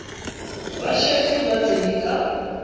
ba šetše ba tsene ka